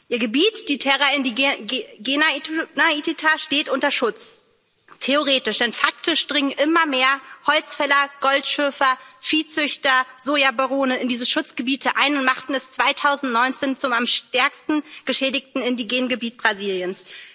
Ihr Gebiet, die Terra Indígena Ituna Itatá, steht unter Schutz. Theoretisch denn faktisch dringen immer mehr Holzfäller, Goldschürfer, Viehzüchter, Sojabarone in diese Schutzgebiete ein und machten das Gebiet 2019 zum am stärksten geschädigten indigenen Gebiet Brasiliens.